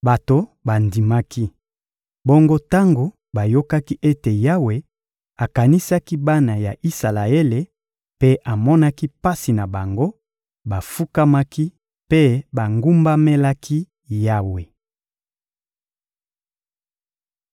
Bato bandimaki. Bongo tango bayokaki ete Yawe akanisaki bana ya Isalaele mpe amonaki pasi na bango, bafukamaki mpe bagumbamelaki Yawe.